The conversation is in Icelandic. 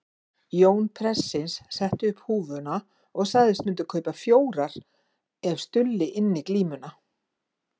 Jón prestsins setti upp húfuna og sagðist myndu kaupa fjórar ef Stulli ynni glímuna.